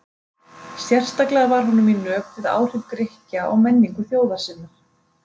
Sérstaklega var honum í nöp við áhrif Grikkja á menningu þjóðar sinnar.